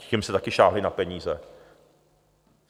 Těm jste taky sáhli na peníze.